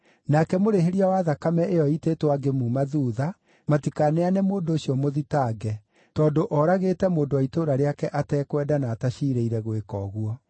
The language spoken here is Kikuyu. Nake mũrĩhĩria wa thakame ĩyo ĩitĩtwo angĩmuuma thuutha, matikaneane mũndũ ũcio mũthitange, tondũ oragĩte mũndũ wa itũũra rĩake atekwenda na ataciirĩire gwĩka ũguo.